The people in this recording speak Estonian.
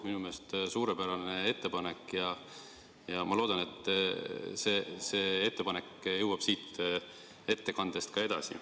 Minu meelest suurepärane ettepanek ja ma loodan, et see jõuab siit ettekandest ka edasi.